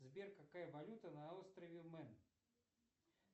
сбер какая валюта на острове мен